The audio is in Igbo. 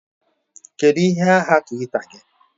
Kedu ihe aha Twitter gị?